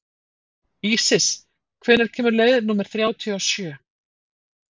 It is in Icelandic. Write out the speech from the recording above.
Ísis, hvenær kemur leið númer þrjátíu og sjö?